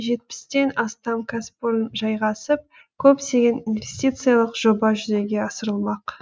жетпістен астам кәсіпорын жайғасып көптеген инвестициялық жоба жүзеге асырылмақ